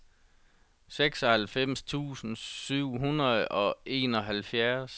seksoghalvfems tusind syv hundrede og enoghalvfjerds